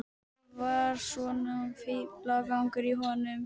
Þetta var svona fíflagangur í honum.